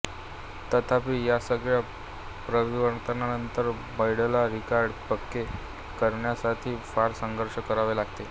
तथापि यासगळ्या परिवर्तनानंतर बैंडला रिकार्ड पक्के करण्यासाथी फ़ार संघर्ष करावे लागले